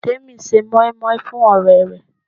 Temi ń ṣe moin-moin fún ọ̀rẹ́ rẹ̀.